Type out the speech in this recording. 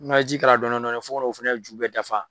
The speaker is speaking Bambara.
N'a ye ji k'a la dɔɔni dɔɔni, fo ka na o fɛnɛ ju bɛɛ dafa .